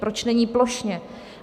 Proč není plošně?